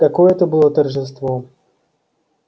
какое это было торжество